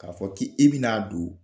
K'a fɔ k i bɛ n'a don